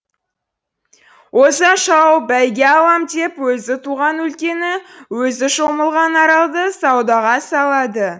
оза шауып бәйге алам деп өзі туған өлкені өзі шомылған аралды саудаға салады